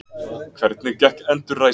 Hvernig gekk endurræsingin?